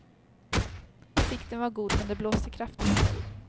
Sikten var god, men det blåste kraftigt.